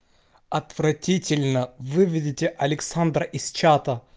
отвратительно выведите александра из чата